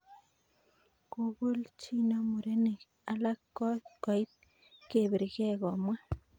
"Kobolchino murenik alak kot koit kebirke," komwa.